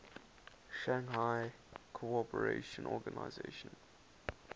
shanghai cooperation organization